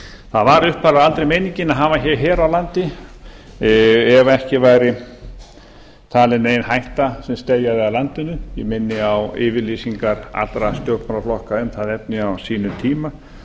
það var upphaflega aldrei meiningin að hafa hér her á landi ef ekki væri talin nein hætta sem steðjaði að landinu ég minni á yfirlýsingar allra stjórnmálaflokka um það efni á sínum tíma